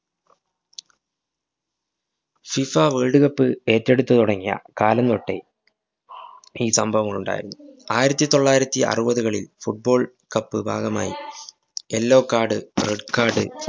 fifa world cup ഏറ്റെടുത്തുതുടങ്ങിയ കാലം തൊട്ടേ ഈ സംഭവങ്ങളുണ്ടായിരുന്നു. ആയിരത്തിതൊള്ളായിരത്തി അറുപതുകളില്‍ football cup ഭാഗമായി yellow card, red card